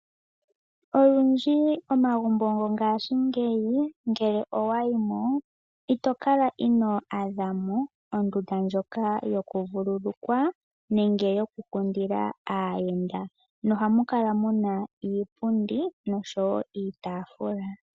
Olundji omagumbo gongashingeyi nele owayi mo, ito kala ino adha mo ondunda ndjoka yokuvululukwa nenge yokukundila aayenda. Ohamu kala muna iipundi osho wo iitafula.